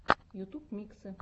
ютуб миксы